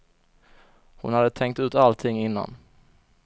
Hon hade tänkt ut allting innan.